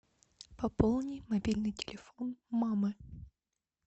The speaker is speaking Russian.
пополни мобильный телефон мамы